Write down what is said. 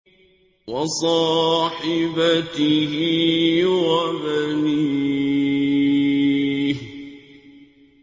وَصَاحِبَتِهِ وَبَنِيهِ